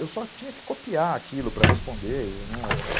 Eu só tinha que copiar aquilo para responder.